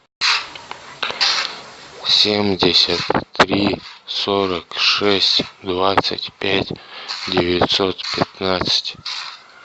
семьдесят три сорок шесть двадцать пять девятьсот пятнадцать